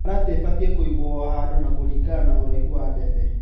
mĩharatĩ ĩbatie kũigwo ohandũ na kũringana na ũraihu wa ndefe.